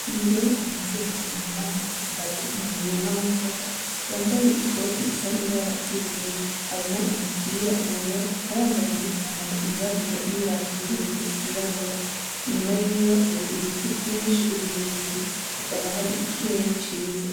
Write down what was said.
Umugore anazerewe yunamye hagati mu muzima w'imboga yambaye ikoti isa n'ibara ry'ubururu harimwo umupirawera akaba yambaye ipantaro y'irabura n'ibarato birebire vyiraburabura inyuma yiwe hariho ibiti vyinshi birebire hahakaba hari ikirere ciza hari ikirere ciza